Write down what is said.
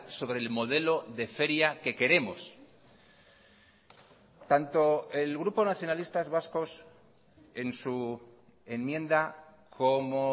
sobre el modelo de feria que queremos tanto el grupo nacionalistas vascos en su enmienda como